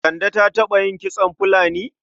Kande ta taɓa yin kitson fulani?